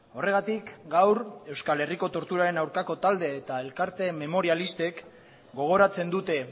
horregatik gaur euskal herriko torturaren aurkako talde eta elkarte memorialistek gogoratzen dute